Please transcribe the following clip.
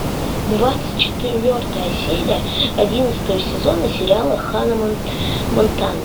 двадцать четвертая серия одиннадцатого сезона сериала ханна монтана